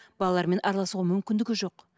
балалармен араласуға мүмкіндігі жоқ